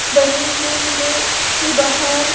बनी हुई है इसके बाहर--